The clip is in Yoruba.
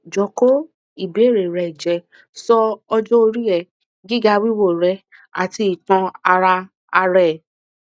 jọ ko ibeere rẹ jẹ so ọjọ ori ẹ gigawiwo re ati itan ara ara e